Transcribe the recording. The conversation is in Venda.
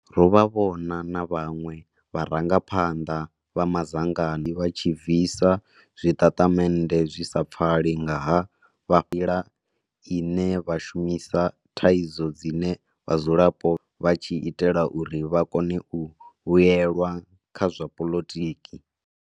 Ro vha vhona na vhaṅwe vharangaphanḓa vha madzangano vha tshi bvisa zwitatamennde zwi sa pfali nga ha vha ila ine vha shumisa thaidzo dzine vhadzulapo vha tshi itela uri vha kone u vhuelwa kha zwa poḽotiki.